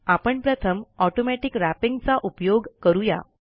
आपण प्रथम automatic wrapping चा उपयोग करू या